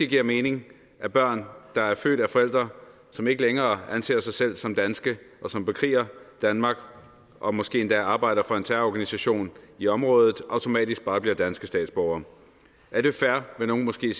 giver mening at børn der er født af forældre som ikke længere anser sig selv som danske og som bekriger danmark og måske endda arbejder for en terrororganisation i området automatisk bare bliver danske statsborgere er det fair vil nogle måske